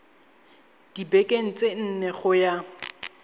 dibekeng tse nne go ya